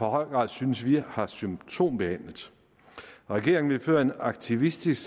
høj grad synes vi har symptombehandlet regeringen vil føre en aktivistisk